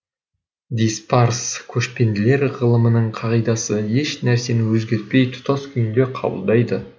диспарс көшпенділер ғылымының қағидасы еш нәрсені өзгертпей тұтас күйінде қабылдайды